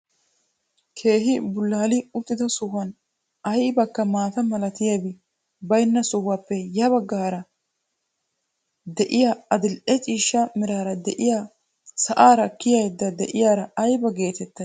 Keehi bullaali uttida sohuwaan aybakka maata milatiyaabi baynna sohuwaappe ya bagga gaxaara d'iyaa adil'e ciishsha meraara diyaa sa'aara kiyayda de'iyaara ayba getettay?